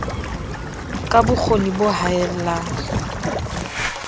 ka bo kgoni bo haellang